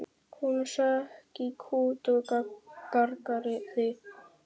Hún hrökk í kút og gargaði upp.